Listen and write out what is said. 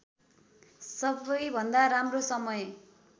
सबैभन्दा राम्रो समय